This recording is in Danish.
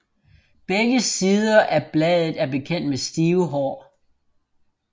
Begge sider af bladet er beklædt med stive hår